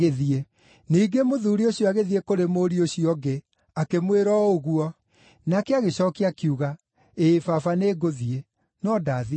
“Ningĩ mũthuuri ũcio agĩthiĩ kũrĩ mũriũ ũcio ũngĩ akĩmwĩra o ũguo. Nake agĩcookia akiuga, ‘Ĩĩ baba, nĩngũthiĩ,’ no ndaathiire.